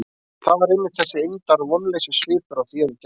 Það var einmitt þessi eymdar- og vonleysissvipur á þér í gær.